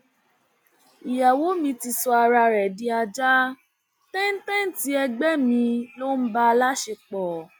ìyàwó mi ti sọ ara ẹ di ajá tẹńtẹǹtì ẹgbẹ mi ló ń bá a láṣepọ